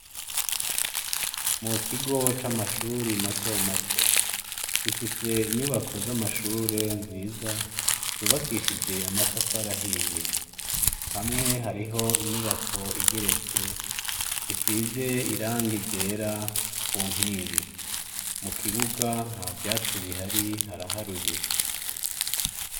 Mu kigo c' amashure matomato, gifis' inyubako z'amashure nziza zubakishij' amatafar'ahiye, hamwe harih' inyubak' igeretse, isiz' irangi ryera ku nkingi, mu kibuga ntavyatsi bihari haraharuye.